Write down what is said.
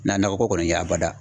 Na na nakɔ kɔni ye a bada.